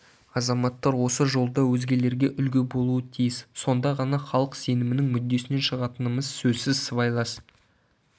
азаматтар осы жолда өзгелерге үлгі болуы тиіс сонда ғана халық сенімінің мүддесінен шығатынымыз сөзсіз сыбайлас